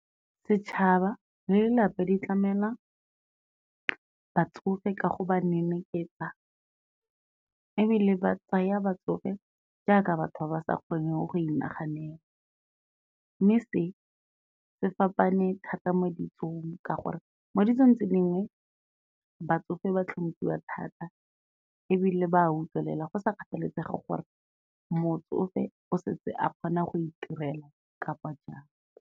Setšhaba le lelapa di tlamela batsofe ka go ba neneketsa, ebile ba tsaya batsofe jaaka batho ba ba sa kgoneng go inaganela, mme se se fapane thata mo ditsong, ka gore mo ditsong tse dingwe batsofe ba hlomphiwa thata ebile ba utlwelela go sa kgathalesege gore motsofe o setse a kgona go itirela kapa jang.